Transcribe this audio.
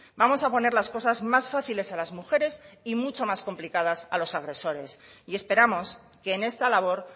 vamos a poner las cosas más fáciles a las mujeres y mucho más complicadas a los agresores y esperamos que en esta labor